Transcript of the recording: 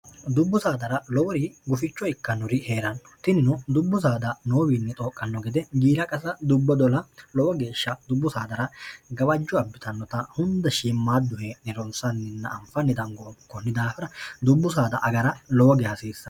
dubbu saadara lowori guficho ikkannuri hee'ranno tinino dubbu saada noowiinni xooqqanno gede giila qasa dubbo dola lowo geeshsha dubbu saadara gawajju abbitannota hunda shiimmaadduhe nironsanninna anfanni dango obu konni daafira dubbu saada agara lowoge hasiissan